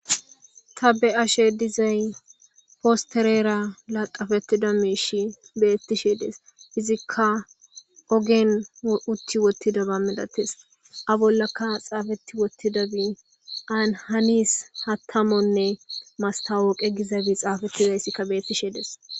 Ta be7asheedizay posththereera laxxafeththida miishshi beeththishee dees; izikka ogen uththi woththidaba milathes; a bollakka tsaafeththi woththidabi an hanis haththamonne masththaawoqe gizaba xaafethizayssikka beeththishee de7es.